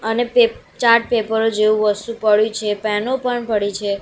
અને પે ચાર્ટ પેપરો જેવુ વસ્તુ પડ્યુ છે પેનો પણ પડી છે.